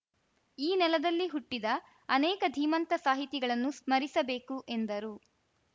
ಈ ನೆಲದಲ್ಲಿ ಹುಟ್ಟಿದ ಅನೇಕ ಧೀಮಂತ ಸಾಹಿತಿಗಳನ್ನು ಸ್ಮರಿಸಬೇಕು ಎಂದರು